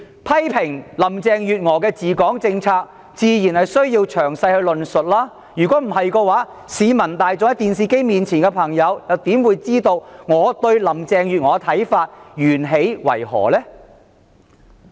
批評林鄭月娥的治港政策，自然需要詳細論述，不然市民大眾和正在收看電視直播的觀眾又怎能了解我對林鄭月娥的看法源起為何呢？